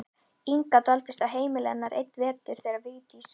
Inga dvaldist á heimili hennar einn vetur þegar Vigdís